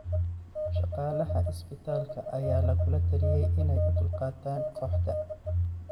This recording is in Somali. Shaqaalaha isbitaalka ayaa lagula taliyay inay u dulqaataan kooxda.